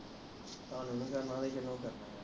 ਤੁਹਾਨੂੰ ਨਹੀਂ ਕਰਨਾ ਤਾ ਕਿਹਨੂੰ ਕਰਨਾ ਵਾ